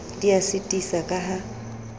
di a sitisa ka ha